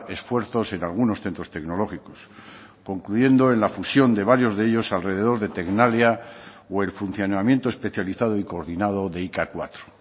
esfuerzos en algunos centros tecnológicos concluyendo en la fusión de varios de ellos alrededor de tecnalia o el funcionamiento especializado y coordinado de i ka cuatro